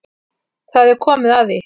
Það er komið að því.